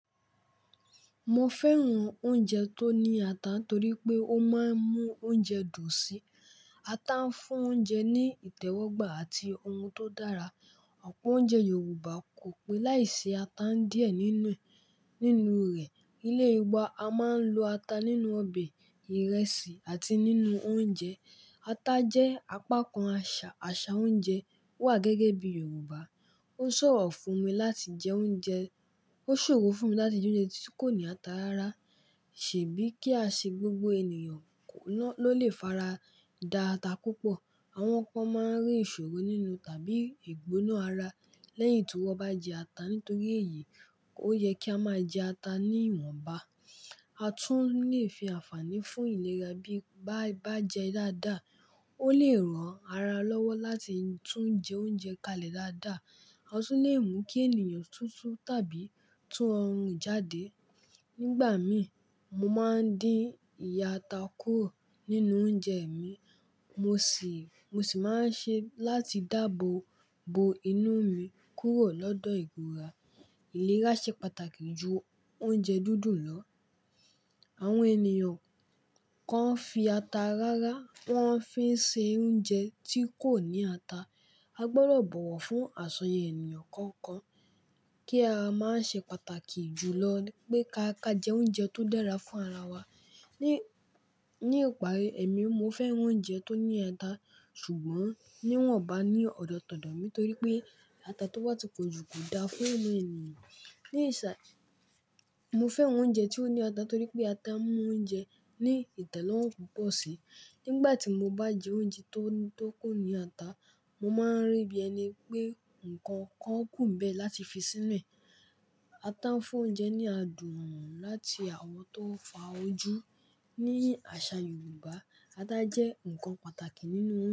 Mo fẹ́ran oúnjẹ tó ní ata torí pé ó máa ń mú oúnjẹ dùn sí. Ata ń fún oúnjẹ ní ìtẹ́wọ́gbà àti ohun tó dára. Ọ̀pọ̀ oúnjẹ Yorùbá kò pé láìsí ata díẹ̀ nínú, nínú rẹ̀. Ilé wa a máa ń lo ata nínú ọbẹ̀, ìrẹsì àti nínú oúnjẹ. Ata jẹ́ apakan àṣà, àṣà oúnjẹ wà gẹ́gẹ́ bí Yorùbá. Ó ṣòro fún mi láti jẹ oúnjẹ, ó ṣòro fún mi láti jẹ oúnjẹ tí kò ní ata rárá. Ṣèbí kí a ṣe gbogbo ènìyàn kò ná, ló lè fara da ata púpọ̀. Àwọn kan máa ń rí ìṣòro nínú tàbí ìgbóná ara lẹ́yìn tí wón bá jẹ ata. Nítorí èyí, ó yẹ kí a máa jẹ ata níwọ̀nba. A tún lè fi àǹfààní fún ìlera bí bá, bá jẹ dáadáa. Ó lè ran ara lọ́wọ́ láti tún jẹ oúnjẹ kalẹ̀ dáadáa. A tún lè mú kí ènìyàn túntún tàbí tún ọrùn jáde. Nígbà mí, mo máa ń dín ìyẹ́ ata kúrò nínú oúnjẹ mi. Mo ṣì, mo ṣì máa ń ṣe láti dáàbò bo inú mi kúrò lọ́dọ̀ ìgùra. Ìlera ṣe pàtàkì ju oúnjẹ dúdù lọ. Àwọn ènìyàn kan fi ata rárá, wọ́n fi ń ṣe oúnjẹ tí kò ní ata. A gbọ́dọ̀ bọ̀wọ̀ fún àsọyẹ ènìyàn kọ̀ọ̀kan kí a máa ṣe pàtàkì jùlọ ni pé ká ká jẹ oúnjẹ tó dára fún ara wa. Ni, ní ìparí, èmi mo fẹ́ran oúnjẹ tó ní ata ṣùgbọ́n níwọ̀nba ní ọ̀dọ̀tọ̀dọ̀ mí torí pé ata tó wà tí pọ̀ jù kò da fún ọmọ ènìyàn. Mo fẹ́ran oúnjẹ tí ó ní ata torí pé ata mú oúnjẹ ní ìtẹ́lọ́rùn púpọ̀ síi. Nígbà tí mo bá jẹ oúnjẹ tó, tó kò ní ata, mo máa ń rí bí ẹni pé nǹkan kan kùnbẹ̀ láti fi sínú ẹ̀ ata fún oúnjẹ ní adùn láti àwọn tó ń fa ojú. Ni àṣà Yorùbá, ata jẹ́ nǹkan pàtàkì nínú.